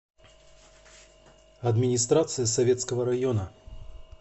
администрация советского района